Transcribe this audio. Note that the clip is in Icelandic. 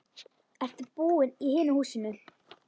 Ertu búinn í hinu húsinu?